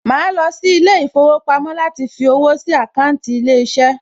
Màá lọ sí ilé ìfowópamọ́ láti fí owó sí àkáńtì ilé iṣẹ́